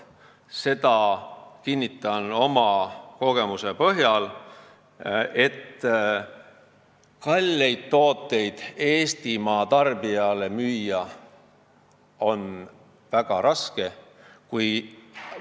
Seda kinnitan oma kogemuse põhjal, et kalleid tooteid on Eestimaa tarbijale väga raske müüa.